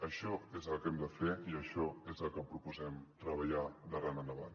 això és el que hem de fer i això és el que proposem treballar d’ara endavant